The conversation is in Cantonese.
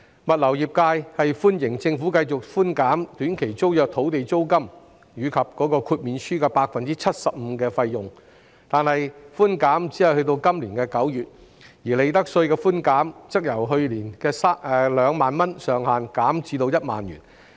物流業界歡迎政府繼續寬減短期租約及豁免書的 75% 租金及費用，但寬減安排只維持至今年9月，而利得稅寬減上限則由去年的2萬元減至1萬元。